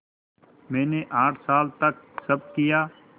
मैंने आठ साल तक सब किया